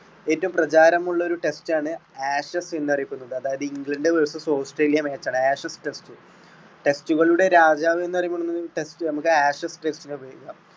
ഏറ്റവും പ്രചാരമുള്ളൊരു test ആണ് ashes എന്ന് അറിയപ്പെടുന്നത് അതായത് ഇംഗ്ലണ്ട് versus ഓസ്ട്രേലിയ match ആണ് ashes test. test കളുടെ രാജാവ് എന്ന് അറിയപ്പെടുന്നതും test നമ്മുക്ക് ashes test റ്റിനെ വിളിക്കാം.